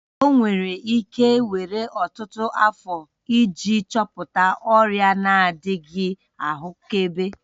Ọ nwere ike were ọtụtụ afọ iji chọpụta ọrịa na-adịghị ahụkebe.